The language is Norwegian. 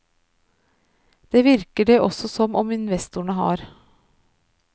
Det virker det også som om investorene har.